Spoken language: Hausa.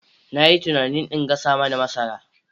Na yi tunanin in gasa mana masara.